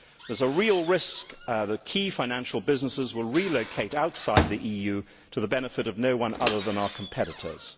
There is a real risk that key financial businesses will relocate outside the EU to the benefit of no one other than our competitors.